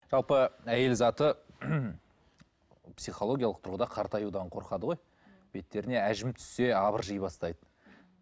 жалпы әйел заты психологиялық тұрғыда қартаюдан қорқады ғой беттеріне әжім түссе әбіржей бастайды